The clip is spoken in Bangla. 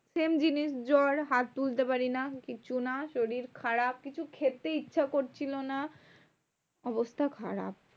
same জিনিস জ্বর, হাত তুলতে পারি না, কিছু না, শরীর খারাপ, কিছু খেতে ইচ্ছা করছিলো না, অবস্থা খারাপ।